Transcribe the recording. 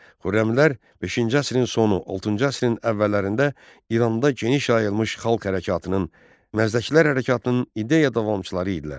Xürrəmlər beşinci əsrin sonu, altıncı əsrin əvvəllərində İranda geniş yayılmış xalq hərəkatının, Məzdəkilər hərəkatının ideya davamçıları idilər.